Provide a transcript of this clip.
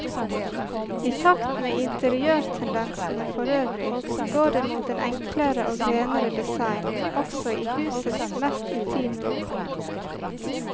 I takt med interiørtendensene forøvrig, går det mot en enklere og renere design også i husets mest intime rom.